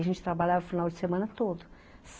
A gente trabalhava final de semana todo.